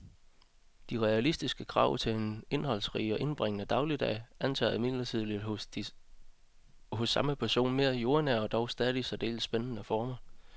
De realistiske krav til en indholdsrig og indbringende dagligdag antager imidlertid hos samme person mere jordnære og dog stadig særdeles spændende former.